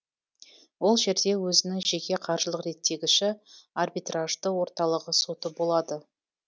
ол жерде өзінің жеке қаржылық реттегіші арбитражды орталығы соты болады